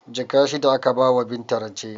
Jaka shida aka bawa Binta rance